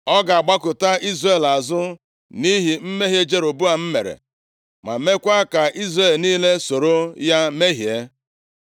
Ọ ga-agbakụta Izrel azụ nʼihi mmehie Jeroboam mere, ma meekwa ka Izrel niile soro ya mehie.”